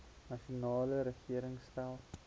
nasionale regering stel